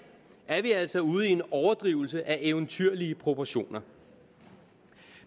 er vi altså ude i en overdrivelse af eventyrlige proportioner